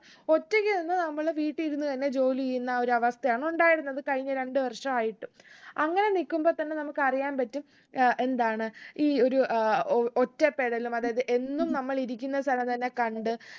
ഒറ്റക്ക് നിന്ന് നമ്മള് വീട്ടി ഇരുന്ന് തന്നെ ജോലി ചെയ്യുന്ന ആ ഒരു അവസ്ഥയാണ് ഉണ്ടായിരുന്നത് കഴിഞ്ഞ രണ്ട് വർഷായിട്ട് അങ്ങനെ നിക്കുമ്പോ തന്നെ നമുക്ക് അറിയാൻ പറ്റും ഏർ എന്താണ് ഈ ഒരു ഏർ അഹ് ഒറ്റപ്പെടലും അതായത് എന്നും നമ്മള് ഇരിക്കുന്ന സ്ഥലം തന്നെ കണ്ട്